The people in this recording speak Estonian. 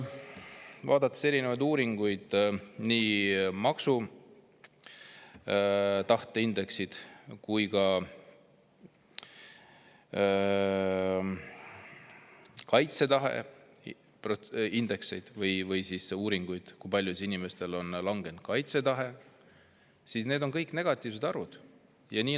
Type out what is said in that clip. Vaadates erinevaid uuringuid, nii maksutahte indeksit kui ka uuringuid selle kohta, kui palju inimeste kaitsetahe on langenud, nende kõigi puhul negatiivset.